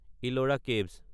Ellora caves